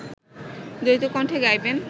দ্বৈতকণ্ঠে গাইবেন